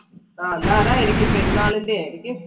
ആ എന്ന അതായിരിക്കും പെരുന്നാളിന്റെ ആയിരിക്കും.